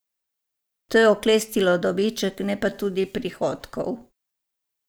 To je oklestilo dobiček, ne pa tudi prihodkov.